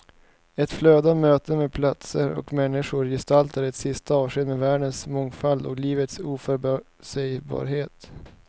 Ett flöde av möten med platser och människor gestaltar ett sista avsked med världens mångfald och livets oförutsägbarhet.